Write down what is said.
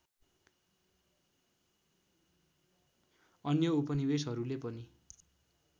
अन्य उपनिवेशहरूले पनि